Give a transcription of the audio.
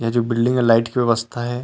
ए जो बिल्डिंग ए लाइट के व्यवस्था हे।